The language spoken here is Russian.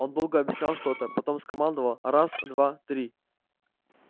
он долго объяснял что-то потом скомандовал раз два три